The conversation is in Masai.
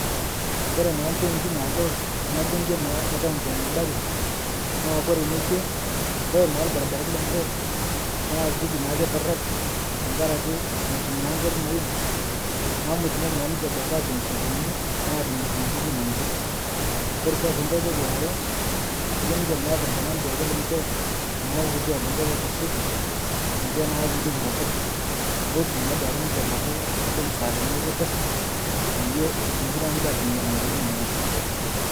Koree taa mpointii naagol tana bunge naa e county e nyandarua naa Kore nekwee naa Kore na lbarbaranii lenshee naa kejii naa keitorok tankarakee motum naa nkari neim naaku motumoki naa duake ninshe ashom sokonini atimir nenia tokitin enshee, kore sii ng'hai toki aare, kejo ninshe meata duake ltungana lenshe naa lkutua lenshee loitasheki ninshe naa teidie tekeper mootu naa abaki duake ninshee nkulie musaadani ekeper payie etumoki naa ninshe atimir nenia tokitin enshee.